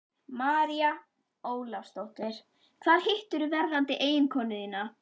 María Ólafsdóttir: Hvar hittirðu verðandi eiginkonu þína?